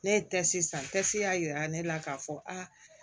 Ne ye san y'a yira ne la k'a fɔ aa